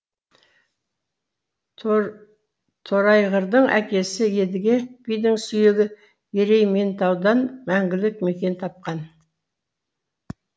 торайғырдың әкесі едіге бидің сүйегі ерейментаудан мәңгілік мекен тапқан